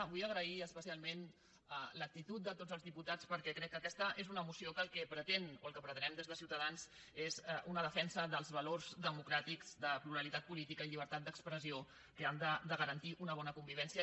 vull agrair especialment l’actitud de tots els diputats perquè crec que aquesta és una moció que el que pretén o el que pretenem des de ciutadans és una defensa dels valors democràtics de la pluralitat política i llibertat d’expressió que han de garantir una bona convivència